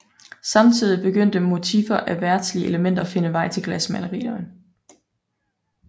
Samtidig begyndte motivfer af verdslige elementer at finde vej til glasmalerierne